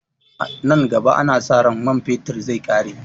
Nan gaba ana sa ran man fetir zai ƙare